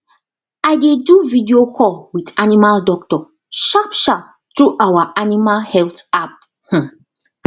i dey do video call with animal doctor sharpsharp through our animal health app um